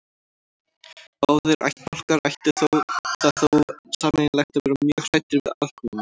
Báðir ættbálkar áttu það þó sameiginlegt að vera mjög hræddir við aðkomumenn.